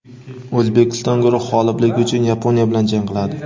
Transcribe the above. O‘zbekiston guruh g‘olibligi uchun Yaponiya bilan jang qiladi.